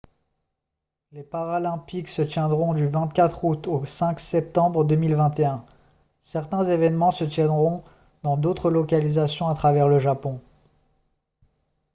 les paralympiques se tiendront du 24 août au 5 septembre 2021 certains événements se tiendront dans d'autres localisations à travers le japon